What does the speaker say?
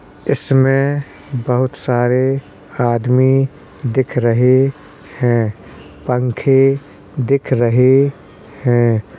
इसमें बहुत सारे आदमी दिख रहे हैं। पंखे दिख रहे हैं।